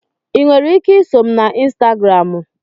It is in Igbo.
Ị nwere ike iso m na Instagramu?